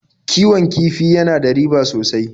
Kiwon kifi ya na da riba sosai.